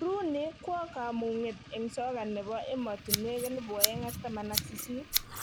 Rooney kwo kamung'et eng soka ne bo emotinwek 2018